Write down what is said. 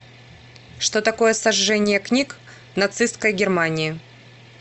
что такое сожжение книг в нацистской германии